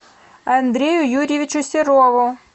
андрею юрьевичу серову